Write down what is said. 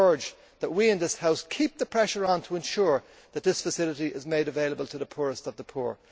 I urge that we in this House keep the pressure on to ensure that this facility is made available to the poorest of the poor.